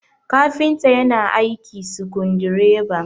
kafinta yana aiki sukundi reba